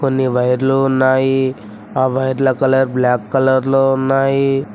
కోన్ని వైర్లు ఉన్నాయి ఆ వైర్ల కలర్ బ్లాక్ కలర్ లో ఉన్నాయి.